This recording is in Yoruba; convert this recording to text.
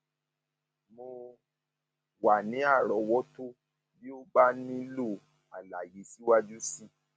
mo wà ní àrọwọtó bí o bá nílò àlàyé síwájú sí i